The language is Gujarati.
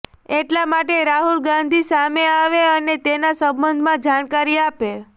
એટલા માટે રાહુલ ગાંધી સામે આવે અને તેના સંબંધમાં જાણકારી આપે